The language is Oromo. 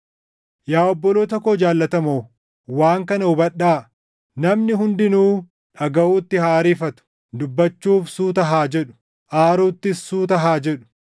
Yaa obboloota koo jaallatamoo, waan kana hubadhaa: Namni hundinuu dhagaʼuutti haa ariifatu; dubbachuuf suuta haa jedhu; aaruuttis suuta haa jedhu;